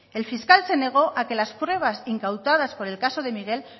el fiscal se negó a que las pruebas incautadas por el caso de miguel